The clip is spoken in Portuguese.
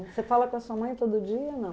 Você fala com a sua mãe todo dia ou não?